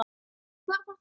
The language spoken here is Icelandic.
Og hver var þá Unnur?